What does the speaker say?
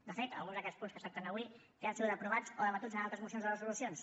de fet algun d’aquests punts que es tracten avui ja han sigut aprovats o debatuts en altres mocions o resolucions